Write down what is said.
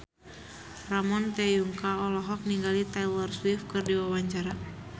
Ramon T. Yungka olohok ningali Taylor Swift keur diwawancara